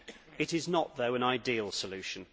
It is not, though, an ideal solution